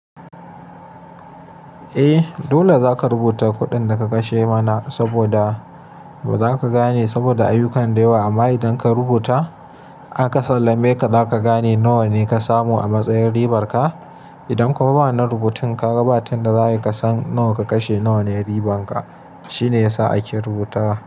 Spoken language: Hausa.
Eh, dole za ka rubuta kuɗin da ka kashe mana saboda ba za ka gane saboda ayyukan da yawa. Amma idan ka rubuta, aka sallame ka, za ka gane nawa ne ka samu a matsayin ribar ka. Idan kuma ba wannan rubutun kaga ba ta yadda za, ai ka san nawa ka kashe, nawa ne riban ka. Shine yasa ake rubuta.